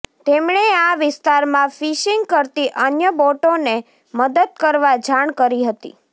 તેમણે આ વીસ્તારમાં ફિશીંગ કરતી અન્ય બોટોને મદદ કરવા જાણ કરી હતી